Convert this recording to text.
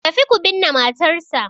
Tafi ku binne matarsa